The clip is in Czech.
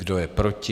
Kdo je proti?